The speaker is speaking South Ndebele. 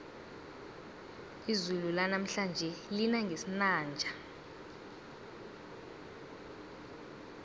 izulu lanamhlanje lina ngesinanja